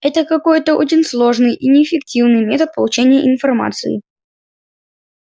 это какой-то очень сложный и неэффективный метод получения информации